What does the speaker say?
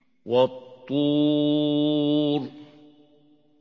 وَالطُّورِ